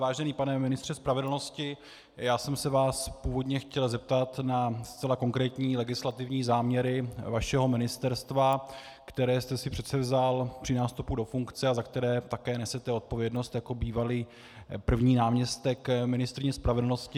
Vážený pane ministře spravedlnosti, já jsem se vás původně chtěl zeptat na zcela konkrétní legislativní záměry vašeho ministerstva, které jste si předsevzal při nástupu do funkce a za které také nesete odpovědnost jako bývalý první náměstek ministryně spravedlnosti.